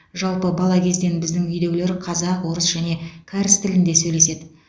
жалпы бала кезден біздің үйдегілер қазақ орыс және кәріс тілінде сөйлеседі